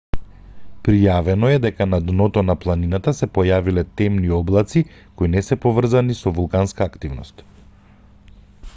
пријавено е дека на дното на планината се појавиле темни облаци кои не се поврзани со вулканска активност